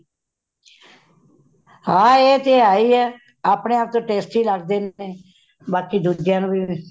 ਹੈ ਏਹ ਤੇ ਹੇਹਿ ਹੇ , ਅਪਣੇ testy ਲੱਗਦੇ ਨੇ , ਬਾਕੀ ਦੂਜਿਆਂ ਨੂੰ ਵੀ